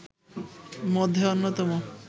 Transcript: মধ্যে অন্যতম